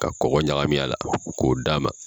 Ka kɔkɔ ɲagamin a la k'o d'a ma.